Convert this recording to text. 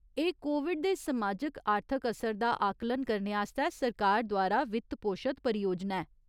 एह् कोविड दे समाजिक आर्थिक असर दा आकलन करने आस्तै सरकार द्वारा वित्तपोशत परियोजना ऐ।